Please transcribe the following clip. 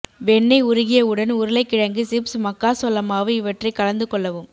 வெண்ணெய் உருகியவுடன் உருளை கிழங்கு சிப்ஸ் மக்காசோளமாவு இவற்றை கலந்து கொள்ளவும்